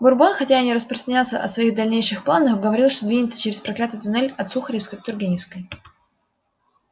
бурбон хотя и не распространялся о своих дальнейших планах говорил что двинется через проклятый туннель от сухаревской к тургеневской